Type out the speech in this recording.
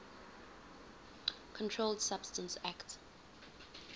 controlled substances acte